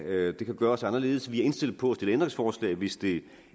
gøres anderledes vi er indstillet på at stille ændringsforslag hvis det